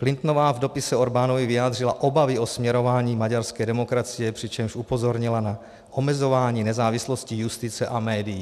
Clintonová v dopise Orbánovi vyjádřila obavy o směrování maďarské demokracie, přičemž upozornila na omezování nezávislosti justice a médií.